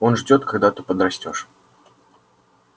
он ждёт когда ты подрастёшь